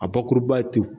A bakuruba ye